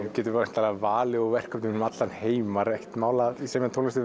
og getur væntanlega valið úr verkefnum um allan heim var ekkert mál að semja tónlist